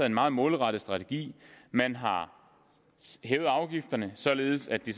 en meget målrettet strategi man har hævet afgifterne således at de